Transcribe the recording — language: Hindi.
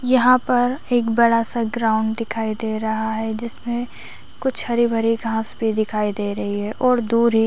यहाँ पर एक बड़ा सा ग्राउंड दिखाई दे रहा है जिसमे कुछ हरे - भरे घास भी दिखाई दे रही है और दूर ही --